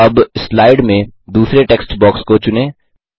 अब स्लाइड में दूसरे टेक्स्ट बॉक्स को चुनें